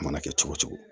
A mana kɛ cogo cogo